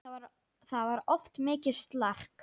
Það var oft mikið slark.